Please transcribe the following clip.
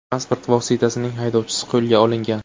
Transport vositasining haydovchisi qo‘lga olingan.